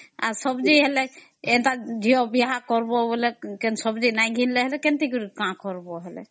ସବଜି ହେଲେ ଝିଅ ବିହା କରିବ ହେଲେ ସବଜି ନାଇଁ କିଣିଲେ କେମିତି କିରି କାମ କରିବା ଯେ ?